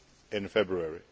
in February.